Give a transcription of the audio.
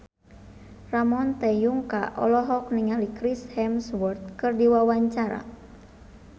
Ramon T. Yungka olohok ningali Chris Hemsworth keur diwawancara